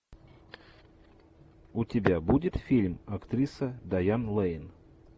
у тебя будет фильм актриса дайан лэйн